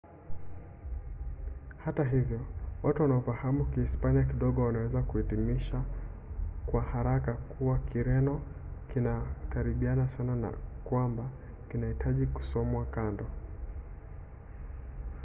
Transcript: hata hivyo watu wanaofahamu kihispania kidogo wanaweza kuhitimisha kwa haraka kuwa kireno kinakaribiana sana na kwamba hakihitaji kusomwa kando